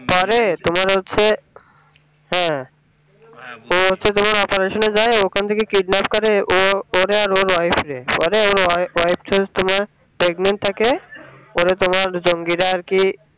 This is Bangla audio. পরে তোমার হচ্ছে হ্যাঁ ও হচ্ছে তোমার operation এ যায় ওখান থেকে kidnap করে ও পরে আর ওর তোমার pregnant থাকে ওরে তোমার জঙ্গি রা আরকি